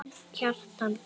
Kjartan Borg.